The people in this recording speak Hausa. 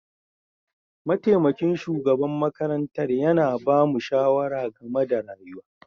Mataimakin shugaban makarantar yana ba mu shawara game da rayuwa.